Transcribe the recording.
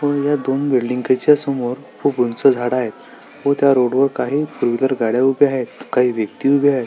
व या दोन बिल्डिंगच्या समोर खूप उंच झाड आहेत व त्या रोडवर काही सुंदर गाड्या उभ्या आहेत काही व्यक्ति उभ्या आहेत.